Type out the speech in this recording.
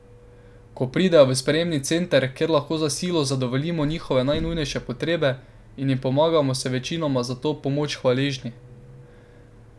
Ko pridejo v sprejemni center, kjer lahko za silo zadovoljimo njihove najnujnejše potrebe in jim pomagamo, so večinoma za to pomoč hvaležni.